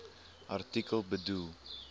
artikel bedoel